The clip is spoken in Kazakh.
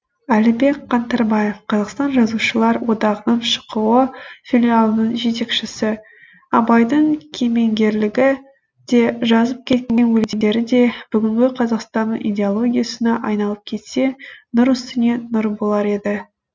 әлібек қаңтарбаев қазақстан жазушылар одағының шқо филиалының жетекшісі абайдың кемеңгерлігі де жазып кеткен өлеңдері де бүгінгі қазақстанның идеологиясына айналып кетсе нұр үстіне нұр болар еді